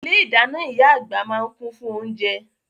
Ilé-ìdáná ìyá àgbà máa ń kún fún oúnjẹ.